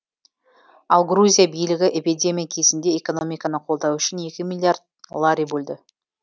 ал грузия билігі эпидемия кезінде экономиканы қолдау үшін екі миллиард лари бөлді